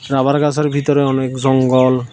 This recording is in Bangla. রাবার গাসের ভিতরে অনেক জঙ্গল।